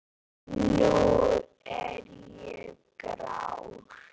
Nú er ég grár.